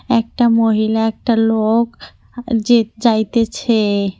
একটা মহিলা একটা লোক যে যাইতেছে।